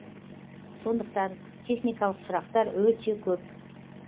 сондықтан техникалық сұрақтар өте көп